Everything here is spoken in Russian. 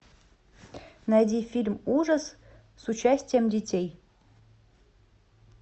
найди фильм ужас с участием детей